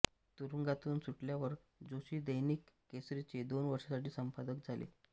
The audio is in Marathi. तुरुंगातून सुटल्यावर जोशी दैनिक केसरीचे दोन वर्षांसाठी संपादक झाले